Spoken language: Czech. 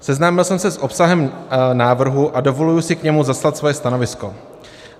Seznámil jsem se s obsahem návrhu a dovoluji si k němu zaslat svoje stanovisko.